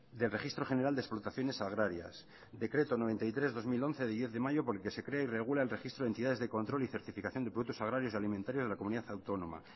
del registro general de explotaciones agrarias decreto noventa y tres barra dos mil once del diez de mayo por el que se crea y regula el registro de entidades de control y certificación de productos agrarios y alimentarios de la comunidad autónoma